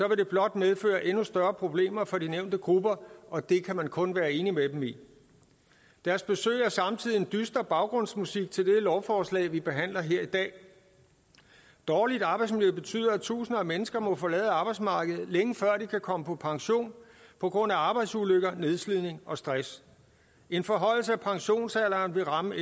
det blot medføre endnu større problemer for de nævnte grupper og det kan man kun være enig med dem i deres besøg er samtidig en dyster baggrundsmusik til det lovforslag vi behandler her i dag dårligt arbejdsmiljø betyder at tusinder af mennesker må forlade arbejdsmarkedet længe før de kan komme på pension på grund af arbejdsulykker nedslidning og stress en forhøjelse af pensionsalderen vil ramme